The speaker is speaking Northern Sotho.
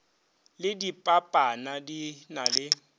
le dipanana di na le